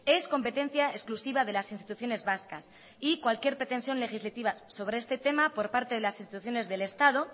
es competencia exclusiva de las instituciones vascas y cualquier pretensión legislativa sobre este tema por parte de las instituciones del estado